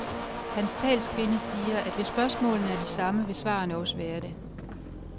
Hans talskvinde siger, at hvis spørgsmålene er de samme, vil svarene også være det.